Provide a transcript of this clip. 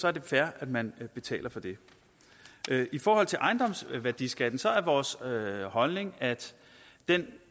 er det fair at man betaler for det i forhold til ejendomsværdiskatten er vores holdning at den